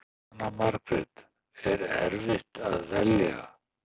Jóhanna Margrét: Er erfitt að velja?